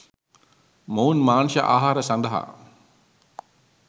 මොවුන් මාංශ ආහාර සඳහා